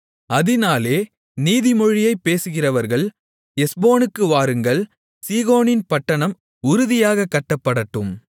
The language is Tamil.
அதினாலே நீதிமொழியைப் பேசுகிறவர்கள் எஸ்போனுக்கு வாருங்கள் சீகோனின் பட்டணம் உறுதியாகக் கட்டப்படட்டும்